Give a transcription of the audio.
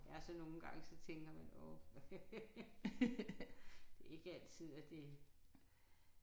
Ja og så nogle gange så tænker man åh. Det er ikke altid at det